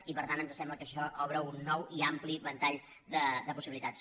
i per tant ens sembla que això obre un nou i ampli ventall de possibilitats